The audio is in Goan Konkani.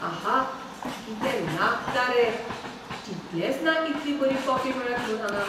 आहा! कितें लागता रे. चिंतलेंच ना इतली बरी कॉफी मेळत म्हूण हांगां.